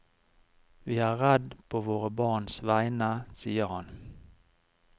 Vi er redd på våre barns vegne, sier han.